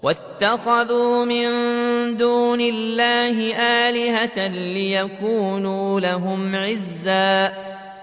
وَاتَّخَذُوا مِن دُونِ اللَّهِ آلِهَةً لِّيَكُونُوا لَهُمْ عِزًّا